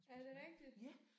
Er det rigtigt?